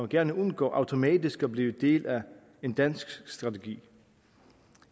gerne undgå automatisk at blive del af en dansk strategi